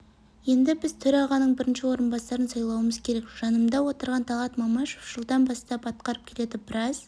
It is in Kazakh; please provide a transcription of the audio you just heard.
енді біз төрағаның бірінші орынбасарын сайлауымыз керек жанымда отырған талғат мамашев жылдан бастап атқарып келеді біраз